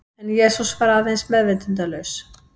En Jesús var aðeins meðvitundarlaus.